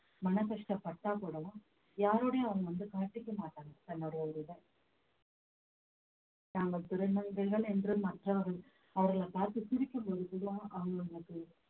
மன கஷ்டப்பட்டால் கூடவும் யாரோடையும் அவங்க வந்து காட்டிக்க மாட்டாங்க தன்னுடைய ஒரு இதை தாங்கள் திருநங்கைகள் என்று மற்றவர்கள் அவர்களைப் பார்த்து சிரிக்கும்பொழுது தான் அவங்களுக்கு